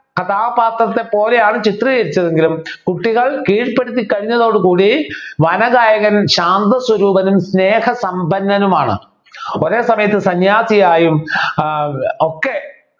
കഥാപാത്രത്തെ പോലെയാണ് ചിത്രീകരിച്ചതെങ്കിലും കുട്ടികൾ കീഴ്പ്പെടുത്തി കഴിഞ്ഞതോടുകൂടി വനഗായകൻ ശാന്ത സ്വരൂപനും സ്നേഹസമ്പന്നനുമാണ് ഒരേ സമയത്ത് സന്യാസിയായും ആഹ് ഒക്കെ